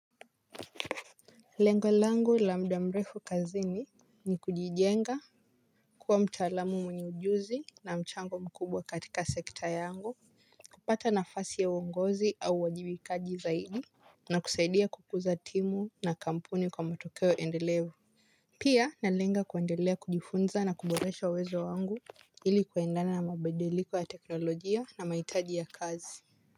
Lengo langu la muda mrefu kazini ni kujijenga kuwa mtaalamu mwenye ujuzi na mchango mkubwa katika sekta yangu kupata nafasi ya uongozi au uajibikaji zaidi na kusaidia kukuza timu na kampuni kwa matokeo endelevu. Pia nalenga kuendelea kujifunza na kuboresha uwezo wangu ili kuendana na mabadiliko ya teknolojia na mahitaji ya kazi.